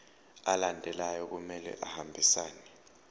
alandelayo kumele ahambisane